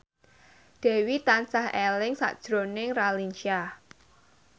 Dewi tansah eling sakjroning Raline Shah